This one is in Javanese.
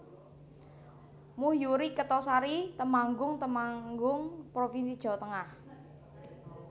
Muh Yuhri Kertosari Temanggung Temanggung provinsi Jawa Tengah